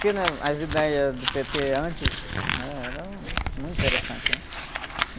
Porque, né? As ideias do pê-tê antes, né? Eram muito interessantes, né?